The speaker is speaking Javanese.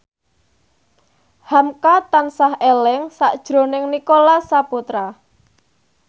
hamka tansah eling sakjroning Nicholas Saputra